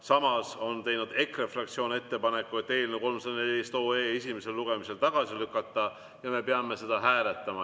Samas on teinud EKRE fraktsioon ettepaneku eelnõu 314 esimesel lugemisel tagasi lükata ja me peame seda hääletama.